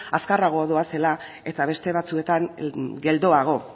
azkarrago doazela eta beste batzuetan geldoago